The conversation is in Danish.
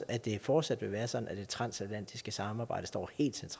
at det fortsat vil være sådan at det transatlantiske samarbejde står